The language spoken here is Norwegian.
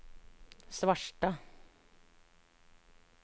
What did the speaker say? Svarstad